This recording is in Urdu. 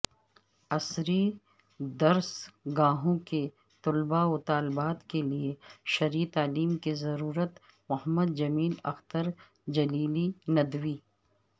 عصری درس گاہوں کے طلبہ وطالبات کے لئے شرعی تعلیم کی ضرورت محمدجمیل اخترجلیلی ندوی